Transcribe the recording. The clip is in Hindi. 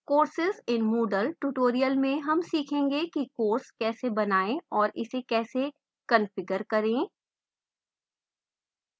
courses in moodle tutorial में हम सीखेंगे कि course कैसे बनाएं और इसे कैसे कंफिगर करें